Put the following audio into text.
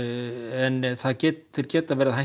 en geta verið það